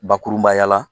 Bakurunbaya la